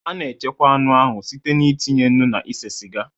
A na-echekwa anụ ahụ site n'itinye nnu na ise siga